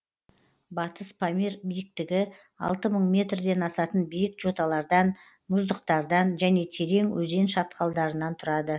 батыс памир биіктігі алты мың метрден асатын биік жоталардан мұздықтардан және терең өзен шатқалдарынан тұрады